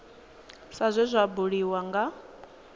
sa zwe zwa buliwa nga